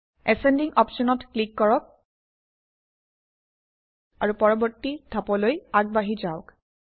ascending অপশ্যনত click কৰক আৰু পৰৱৰ্তী ধাপলৈ আগবাঢ়ি যাওক